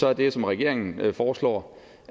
er det jo som regeringen foreslår